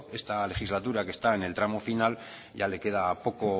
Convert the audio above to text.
esta legislatura que está en el tramo final ya le queda poco